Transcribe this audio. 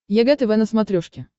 егэ тв на смотрешке